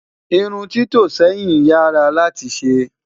irún tito sẹyìn yaa rà láti ṣé